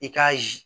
I k'a ye